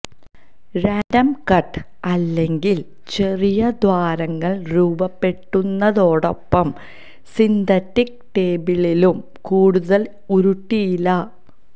random cut അല്ലെങ്കിൽ ചെറിയ ദ്വാരങ്ങൾ രൂപപ്പെടുന്നതോടൊപ്പം സിന്തറ്റിക് ടേബിളിലും കൂടുതൽ ഉരുട്ടിയില്ല